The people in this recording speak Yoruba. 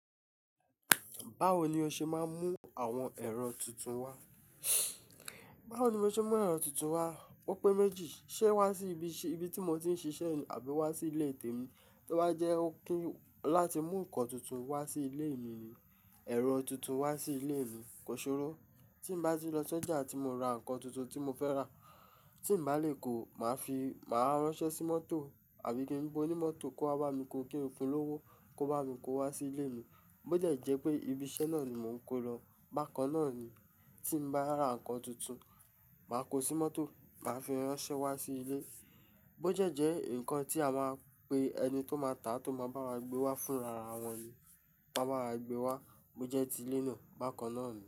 Báwo ni o ṣe máa ń mú àwọn ẹ̀rọ tuntun wá? Báwo ni mo ṣe máa ń mú ẹ̀rọ tuntun wá, ó pé méjì, ṣé wá sí ibi tí mo ti ń ṣiṣẹ́ àbí wá sí ilé tèmi? Tí ó bá jẹ́ ó kí láti mú nǹkan tuntun wá sí ilé mi ni, ẹ̀rọ tuntun wá sí ilé mi, ko ṣorò. Tí ì bá ti lọ sójà tí mo ra ǹkan tuntun tí mo fẹ́ rà, tí n bá lè kó, màá ránsẹ́ sí mọ́tò àbí kin bí onímọ̀tò kó wá bá mi kó kin fun lówó kó bá mi kó wá sí ilé mi. Bó dẹ́ jẹ́ pé ibi iṣẹ́ náà ni mò ń kó lọ, bákan náà ni. Tí ì bá ra ǹkan tuntun, màá kó sí mọ́tò, màá fi ránṣẹ́ wá sí ilé. Bó dẹ́ jẹ́ ǹkan tí a máa pe ẹni tó máa tà á tó máa bá wa gbé wá fúnra ara wọn ni. Wọ́n a bá wa gbé wá, bó jẹ́ ti ilé náà, bákan náà ni.